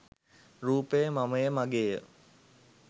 රූපය මමය, මගේය,